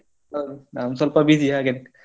ಹೌದ್ ನಾನ್ ಸ್ವಲ್ಪ busy ಹಾಗೆನೇ.